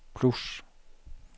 plus